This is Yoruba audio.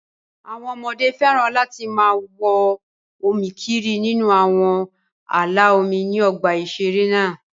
Àwọn ọmọdé féràn láti máa wọ́n omi kiri nínú àwọn ààlà omi ní ọgbà ìṣeré náà